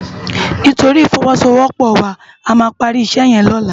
Nitóri ifòwòsówòpò wá àmá pàri isè yèn lòlá